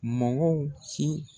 Mɔgɔw ci